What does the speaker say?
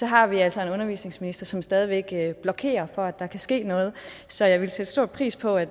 har vi altså en undervisningsminister som stadig væk blokerer for at der kan ske noget så jeg ville sætte stor pris på at